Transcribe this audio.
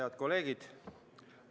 Head kolleegid!